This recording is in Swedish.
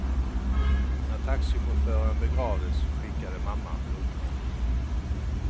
När taxichauffören begravdes skickade mamman blommor.